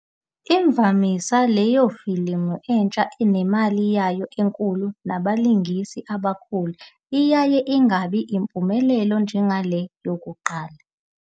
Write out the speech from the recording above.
Imvamisa, leyofilimu entsha, nemali yayo enkulu nabalingisi abakhulu iyaye ingabi impumelelo njengale yokuqala.